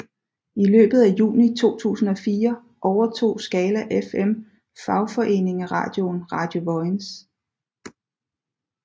I løbet af juni 2004 overtog Skala FM fagforeningeradioen Radio Vojens